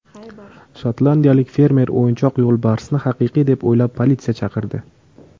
Shotlandiyalik fermer o‘yinchoq yo‘lbarsni haqiqiy deb o‘ylab, politsiya chaqirdi.